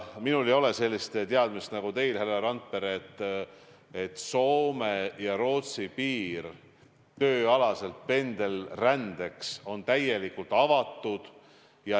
Minul ei ole sellist teadmist nagu teil, härra Randpere, et Soome ja Rootsi piir tööalaseks pendelrändeks on täielikult avatud.